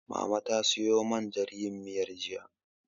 Mama ta siyo man jan yin miyar, jiya.